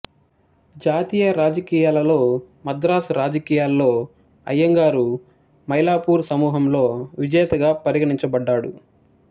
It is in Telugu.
జాతీయ రాజకీయాలలో మద్రాసు రాజకీయాల్లో అయ్యంగారు మైలాపూరు సమూహంలో విజేతగా పరిగణించబడ్డాడు